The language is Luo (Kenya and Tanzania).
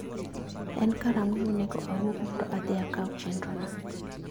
En karang'o monego awuog mondo adhi akaw chenrona?